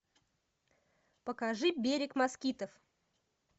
покажи берег москитов